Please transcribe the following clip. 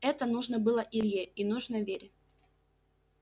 это нужно было илье и нужно вере